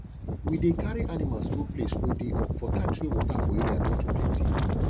we dey carry animals go place wey dey up for times wey water for area don too plenty